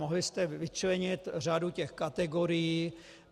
Mohli jste vyčlenit řadu těch kategorií.